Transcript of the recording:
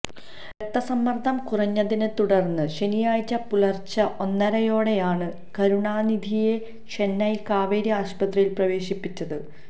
രക്തസമ്മര്ദം കുറഞ്ഞതിനെത്തുടര്ന്നു ശനിയാഴ്ച പുലര്ച്ചെ ഒന്നരയോടെയാണു കരുണാനിധഘിയെ ചെന്നൈ കാവേരി ആശുപത്രിയില് പ്രവേശിപ്പിച്ചത്